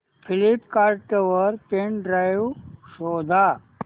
Flipkart वर pen drive शोधा